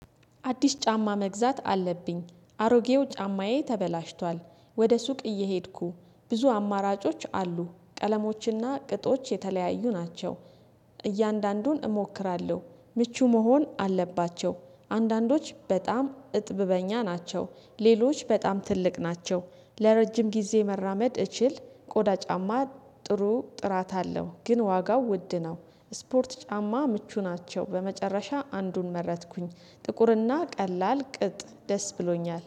አዲስ ጫማ መግዛት አለብኝ አሮጌው ጫማዬ ተበላሽቷል ወደ ሱቅ እየሄድኩ ብዙ አማራጮች አሉ ቀለሞችና ቅጦች የተለያዩ ናቸው። እያንዳንዱን እሞክራለሁ ምቹ መሆን አለባቸው አንዳንዶች በጣም እጥብ በእኛ ናቸው ሌሎች በጣም ትልቅ ናቸው ለረጅም ጊዜ መራመድ እችል ቆዳ ጫማ ጥሩ ጥራት አለው። ግን ዋጋው ውድ ነው። ስፖርት ጫማ ምቹ ናቸው በመጨረሻ አንዱን መረጥኩኝ ጥቁርና ቀላል ቅጥ ደስ ብሎኛል